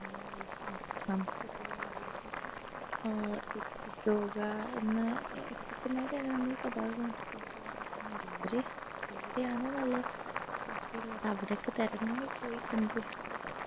നമ്മളിലേക്കും നമ്മുടെ ചുറ്റുള്ളവരിലേക്കൊക്കെ ഏർ എത്തിക്കുക എന്ന എത്തിക്കുക എന്ന food vlogers എന്ന് പറ അവര് എവിടെയാണോ നല്ല രുചിയുള്ളത് അവിടൊക്കെ തെരഞ്ഞു പോയി കണ്ടുപിടിച്ചു